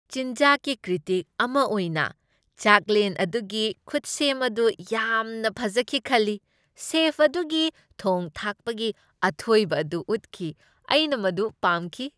ꯆꯤꯟꯖꯥꯛꯀꯤ ꯀ꯭ꯔꯤꯇꯤꯛ ꯑꯃ ꯑꯣꯏꯅ, ꯆꯥꯛꯂꯦꯟ ꯑꯗꯨꯒꯤ ꯈꯨꯠꯁꯦꯝ ꯑꯗꯨ ꯌꯥꯝꯅ ꯐꯖꯈꯤ ꯈꯜꯂꯤ, ꯁꯦꯐ ꯑꯗꯨꯒꯤ ꯊꯣꯡ ꯊꯥꯛꯄꯒꯤ ꯑꯊꯣꯏꯕ ꯑꯗꯨ ꯎꯠꯈꯤ꯫ ꯑꯩꯅ ꯃꯗꯨ ꯄꯥꯝꯈꯤ꯫